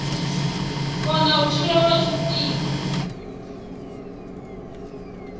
kona u tshila lwa tshifhinga